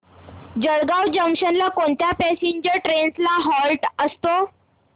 Jalgaon junction ला कोणत्या passenger trains चा हॉल्ट असतो